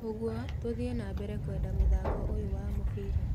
ũguo, tũthie na mbere kwenda mũthako ũyũ wa mũbira.